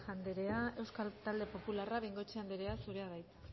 anderea euskal talde popularrak bengoechea anderea zurea da hitza